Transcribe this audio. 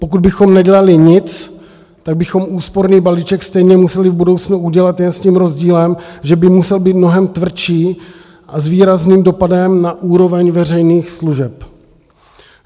Pokud bychom nedělali nic, tak bychom úsporný balíček stejně museli v budoucnu udělat jen s tím rozdílem, že by musel být mnohem tvrdší a s výrazným dopadem na úroveň veřejných služeb.